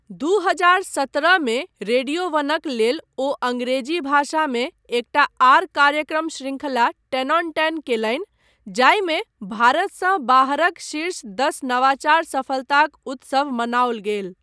दू हजार सत्रह मे रेडियो वनक लेल ओ अंग्रेजी भाषामे एकटा आर कार्यक्रम शृंखला टेन ऑन टेन कयलनि जाहिमे भारतसँ बाहरक शीर्ष दस नवाचार सफलताक उत्सव मनाओल गेल।